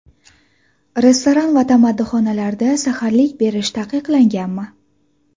Restoran va tamaddixonalarda saharlik berish taqiqlanganmi?